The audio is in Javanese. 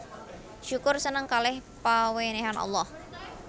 Syukur seneng kaleh pawenehan Allah